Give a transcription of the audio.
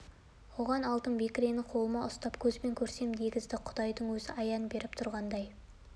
оған алтын бекірені қолыма ұстап көзбен көрсем дегізіп құдайдың өзі аян беріп тұрғандай